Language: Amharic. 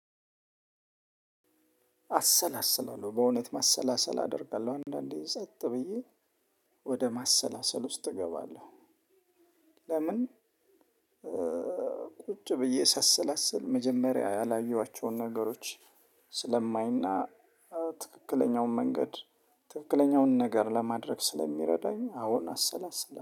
አሰላስላለሁ በእውነት ማሰላሰል አደርጋለሁ አንዳንዴ ጸጥ ብዬ ወደ ማሰላሰል ውስጥ እገባለሁ። ለምን? ቁጭ ብዬ ሳሰላስል መጀመሪያ ያላየኋቸውን ነገሮች ስለማይና ትክክለኛውን መንገድ ትክክለኛውን ነገር ለማድረግ ስለሚረዳኝ አዎን አሰላሰላ